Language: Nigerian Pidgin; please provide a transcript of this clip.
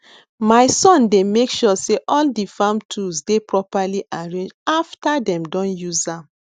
my son dey make sure say all di farm tools dey properly arranged after dem don use am